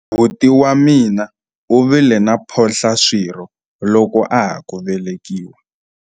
buti wa mina u vile na mphohlaswirho loko a ha ku velekiwa